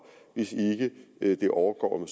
hvis det ikke overgår om